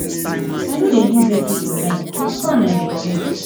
i no dey use ac for night na fan i dey use